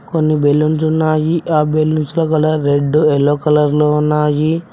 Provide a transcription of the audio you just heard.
కొన్ని బెలూన్స్ ఉన్నాయి ఆ బెలూన్స్ లా కలర్ రెడ్ ఎల్లో కలర్ లో ఉన్నాయి.